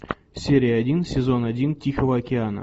серия один сезон один тихого океана